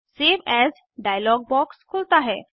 save as dialog box खुलता है